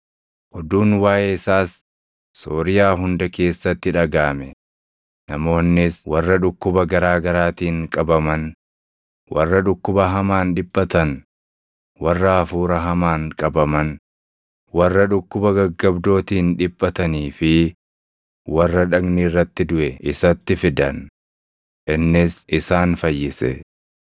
Oduun waaʼee isaas Sooriyaa hunda keessatti dhagaʼame; namoonnis warra dhukkuba garaa garaatiin qabaman, warra dhukkuba hamaan dhiphatan, warra hafuura hamaan qabaman, warra dhukkuba gaggabdootiin dhiphatanii fi warra dhagni irratti duʼe isatti fidan; innis isaan fayyise.